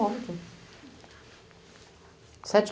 Sete